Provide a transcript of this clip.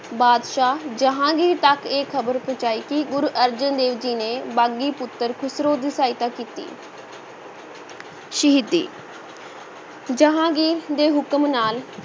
ਬਾਦਸ਼ਾਹ ਜਹਾਂਗੀਰ ਤੱਕ ਇਹ ਖ਼ਬਰ ਪਹੁੰਚਾਈ ਕਿ ਗੁਰ ਅਰਜਨ ਦੇਵ ਜੀ ਨੇ ਬਾਗੀ ਪੁੱਤਰ ਖੁਸਰੋ ਦੀ ਸਹਾਇਤਾ ਕੀਤੀ ਸ਼ਹੀਦੀ ਜਹਾਂਗੀਰ ਦੇ ਹੁਕਮ ਨਾਲ